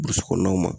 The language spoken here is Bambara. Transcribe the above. Burusi kɔnɔnaw ma